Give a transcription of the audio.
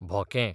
भोके